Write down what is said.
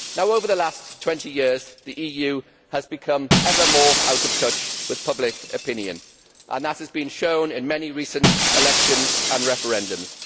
Over the last 20 years, the EU has become ever more out of touch with public opinion, and that has shown in many recent elections and referendums.